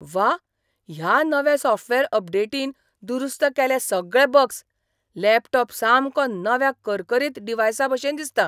व्वा! ह्या नव्या सॉफ्टवेअर अपडेटीन दुरुस्त केले सगळे बग्स. लॅपटॉप सामको नव्या करकरीत डिव्हायसाभशेन दिसता!